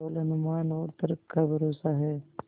केवल अनुमान और तर्क का भरोसा है